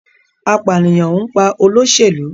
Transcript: Apaniyan n pa oloselu